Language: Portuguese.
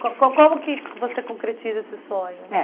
Co co como que você concretiza esse sonho? É